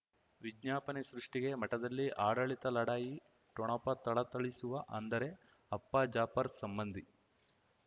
ವಿಜ್ಞಾಪನೆ ಸೃಷ್ಟಿಗೆ ಮಠದಲ್ಲಿ ಆಡಳಿತ ಲಢಾಯಿ ಠೊಣಪ ಥಳಥಳಿಸುವ ಅಂದರೆ ಅಪ್ಪ ಜಾಫರ್ ಸಂಬಂಧಿ